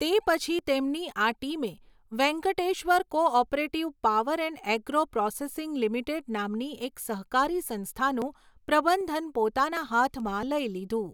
તે પછી તેમની આ ટીમે Venkateshwar cooperative power and agro processing limited નામની એક સહકારી સંસ્થાનું પ્રબંધન પોતાના હાથમાં લઈ લીધું.